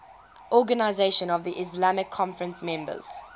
organisation of the islamic conference members